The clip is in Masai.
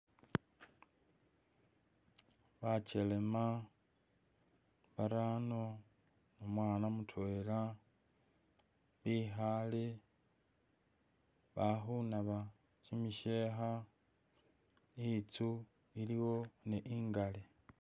Bakyelema barano, omwana mutwela bikhale balikhunabe kyimisheekha inzu iliwo ne ingali